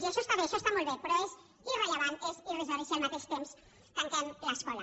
i això està bé això està molt bé però és irrellevant és irrisori si al mateix temps tanquem l’escola